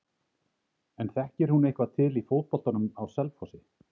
En þekkir hún eitthvað til í fótboltanum á Selfossi?